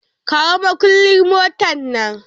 Kawo makullin motar nan!